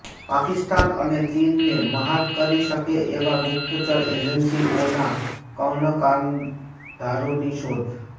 પાકિસ્તાન અને ચીનને મ્હાત કરી શકે એવા ગુપ્તચર એજન્સીઓના કર્ણધારોની શોધ